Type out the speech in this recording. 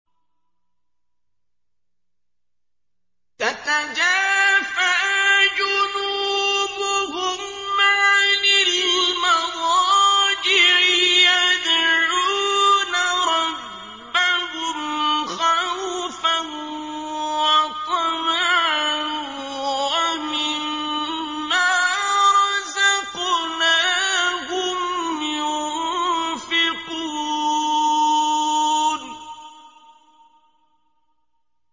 تَتَجَافَىٰ جُنُوبُهُمْ عَنِ الْمَضَاجِعِ يَدْعُونَ رَبَّهُمْ خَوْفًا وَطَمَعًا وَمِمَّا رَزَقْنَاهُمْ يُنفِقُونَ